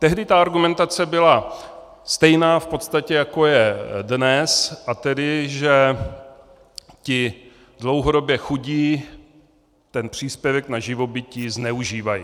Tehdy ta argumentace byla stejná v podstatě, jako je dnes, a tedy že ti dlouhodobě chudí ten příspěvek na živobytí zneužívají.